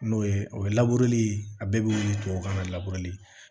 N'o ye o ye a bɛɛ bɛ wili tubabu kan na